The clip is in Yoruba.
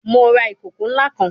Mo ra ikoko nla kan